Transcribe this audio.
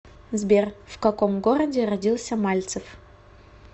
сбер в каком городе родился мальцев